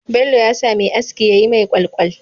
Bello yasa Me aski yayi mai kwalkwal